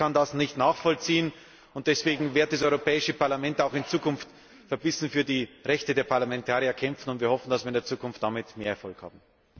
Ich kann das nicht nachvollziehen, und deswegen wird das Europäische Parlament auch in Zukunft verbissen für die Rechte der Parlamentarier kämpfen. Wir hoffen, dass wir in der Zukunft damit mehr Erfolg haben.